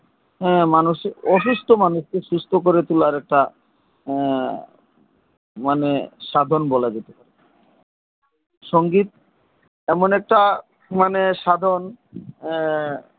মানুষের অসুস্থ মানুষ কে সুস্থ করে তোলার একটা মানে সাধন বলা যেতে পারে সঙ্গীত এমন একটা মানে সাধন